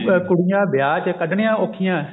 ਕੁੜੀਆਂ ਵਿਆਹ ਚ ਕੱਢਨੀਆਂ ਔਖੀਆਂ